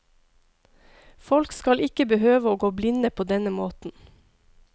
Folk skal ikke behøve å gå blinde på denne måten.